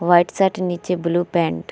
white shirt नीचे blue pant --